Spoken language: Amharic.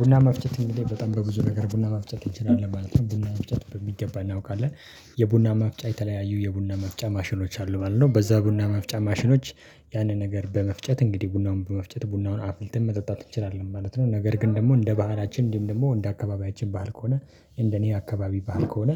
ቡና መፍጨት እንግዲ በጣም በብዙ ነገር ቡና መፍጨት እንችላለን ማለት ነው ቡና መፍጨት በሚገባ እናውቃለን የቡና ማፍጫ የተለያዩ የቡና መፍጫ ማሽኖች አሉ ማለት ነው። በዛ ቡና መፍጫ ማሽኖች ያንን ነገር በመፍጨት እንግዲህ ቡናውን በመፍጨት ቡናውን አፍልተን መጠጣት እንችላለን ማለት ነው። ነገር ግን ደግሞ እንደ ባህላችን እንዲህም ደግሞ እንደ አካባቢያችን ባህል ከሆነ እንደ እኔ አካባቢ ባህል ከሆነ